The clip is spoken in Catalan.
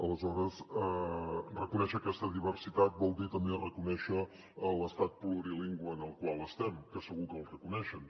aleshores reconèixer aquesta diversitat vol dir també reconèixer l’estat plurilingüe en el qual estem que segur que el reconeixen